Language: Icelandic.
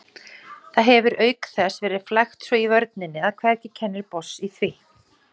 Það hefir auk þess verið flækt svo í vörninni að hvergi kennir botns í því.